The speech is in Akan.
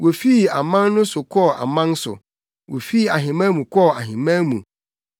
Wofii aman so kɔɔ aman so; fii ahemman mu kɔɔ ahemman mu.